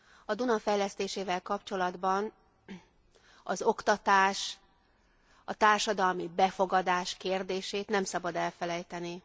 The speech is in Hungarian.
A Duna fejlesztésével kapcsolatban az oktatás, a társadalmi befogadás kérdését nem szabad elfelejteni.